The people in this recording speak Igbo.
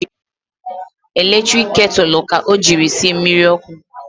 Eletrik ketulu ka o jiri sie mmiri ọkụ